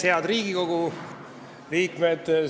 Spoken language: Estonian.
Head Riigikogu liikmed!